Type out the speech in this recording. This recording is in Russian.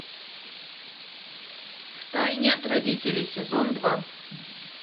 в тайне от родителей сезон два